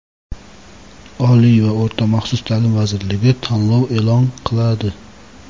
Oliy va o‘rta maxsus taʼlim vazirligi tanlov eʼlon qiladi!.